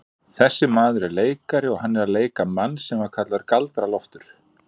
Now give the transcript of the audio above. Þessi maður er leikari og hann er að leika mann sem var kallaður Galdra-Loftur.